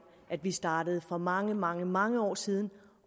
at vi startede for mange mange mange år siden